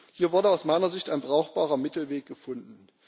Hier wurde aus meiner Sicht ein brauchbarer Mittelweg gefunden.